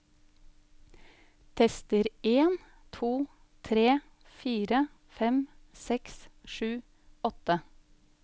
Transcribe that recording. Tester en to tre fire fem seks sju åtte